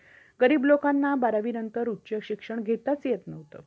गरीब लोकांना बारावी नंतर उच्च शिक्षण घेताच येत नव्हतं.